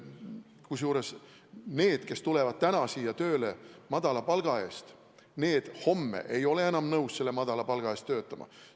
Kusjuures need, kes tulevad praegu siia tööle madala palga eest, ei ole homme enam nõus selle madala palga eest töötama.